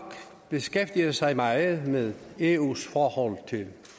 beskæftiget sig meget med eus forhold til